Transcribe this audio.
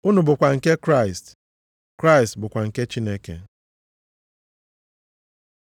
Unu bụkwa nke Kraịst, Kraịst bụkwa nke Chineke.